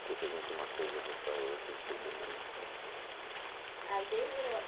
Você pergunta uma coisa, eu vou para outra, depois eu me... Não, não se preocupe. Aí desde